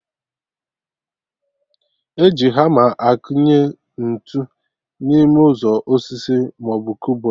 E ji hama akụnye ntụ n'ime ụzọ osisi maọbụ kụbọd